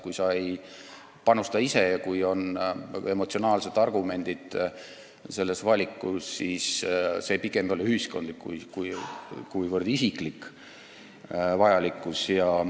Kui sa ise ei panusta ja mingi valiku taga on emotsionaalsed argumendid, siis see ei ole niivõrd ühiskondlik, vaid pigem isiklik vajadus.